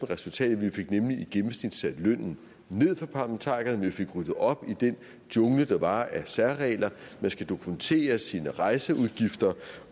resultatet vi fik nemlig i gennemsnit sat lønnen ned for parlamentarikerne vi fik ryddet op i den jungle der var af særregler man skal dokumentere sine rejseudgifter